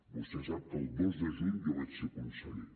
vostè sap que el dos de juny jo vaig ser conseller